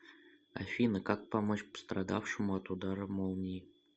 афина как помочь пострадавшему от удара молнии